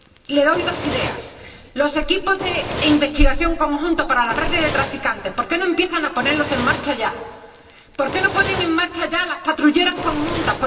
Le doy dos ideas. Los equipos de investigación conjuntos para las redes de traficantes, ¿por qué no empiezan a ponerlos en marcha ya? ¿Por qué no ponen en marcha ya las patrulleras conjuntas?